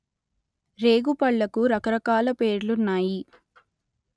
రేగు పళ్ళకు రకరకాల పేర్లున్నాయి